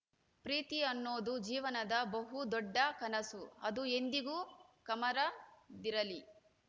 ಪ್ರೀತಿ ಅನ್ನೋದು ಜೀವನದ ಬಹು ದೊಡ್ಡ ಕನಸು ಅದು ಎಂದಿಗೂ ಕಮರದಿರಲಿ